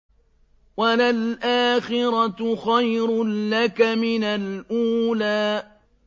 وَلَلْآخِرَةُ خَيْرٌ لَّكَ مِنَ الْأُولَىٰ